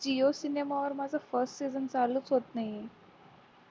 jio cinema वर माझ first season चालू होत नाहीये